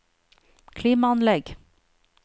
klimaanlegg